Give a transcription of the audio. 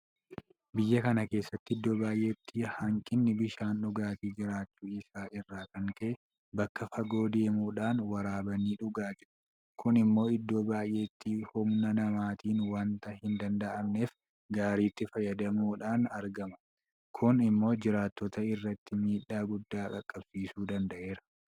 Biyya kana keessa iddoo baay'eetti hanqinni bishaan dhugaatii jiraachuu isaa irraa kan ka'e bakka fagoo deemuudhaan waraabanii dhugaa jiru. Kun immoo iddoo baay'eetti humna namaatiin waanta hindanda'amneef gaariitti fayyadamuudhaan argama. Kun immoo jiraattota irratti miidhaa guddaa qaqqabsiisuu danda'eera.